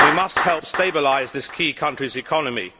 we must help stabilise this key country's economy.